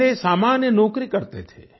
पहले ये सामान्य नौकरी करते थे